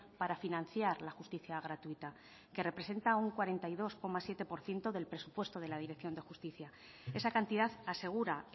para financiar la justicia gratuita que representa un cuarenta y dos coma siete por ciento del presupuesto de la dirección de justicia esa cantidad asegura